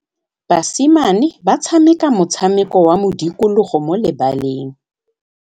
Basimane ba tshameka motshameko wa modikologô mo lebaleng.